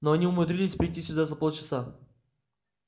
но они умудрились прийти сюда за полчаса